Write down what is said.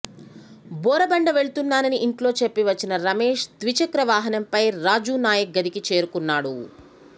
బోరబండ వెళుతున్నానని ఇంట్లో చెప్పి వచ్చిన రమేష్ ద్విచక్రవాహనంపై రాజునాయక్ గదికి చేరుకున్నాడు